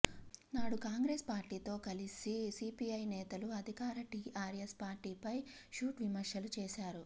నాడు కాంగ్రెస్ పార్టీతో కలిసి సీపీఐ నేతలు అధికార టీఆర్ఎస్ పార్టీపై ఘాటు విమర్శలు చేశారు